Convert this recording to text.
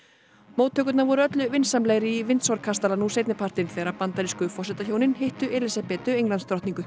móttökurnar voru öllu vinsamlegri í kastala nú seinnipartinn þegar bandarísku forsetahjónin hittu Elísabetu